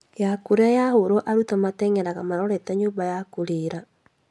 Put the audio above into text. Ya kũrĩa yahũrwo arutwo nĩmateng'eraga marorete nyũmba ya kũrĩĩra